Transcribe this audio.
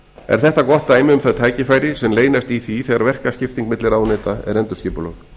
er þetta gott dæmi um þau tækifæri sem leynast í því þegar verkaskipting milli ráðuneyta er endurskipulögð